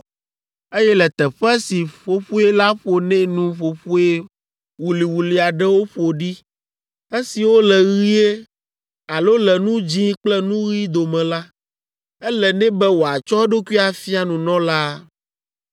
eye le teƒe si ƒoƒoe la ƒo nɛ nu ƒoƒoe wuliwuli aɖewo ƒo ɖi esiwo le ɣie alo le nu dzĩ kple nu ɣi dome la, ele nɛ be wòatsɔ eɖokui afia nunɔlaa.